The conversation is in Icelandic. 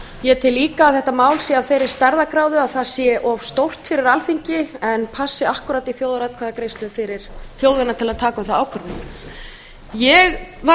ég tel líka að þetta mál sé af þeirri stærðargráðu að það sé of stórt fyrir alþingi en passi akkúrat í þjóðaratkvæðagreiðslu fyrir þjóðina til að taka um það ákvörðun ég var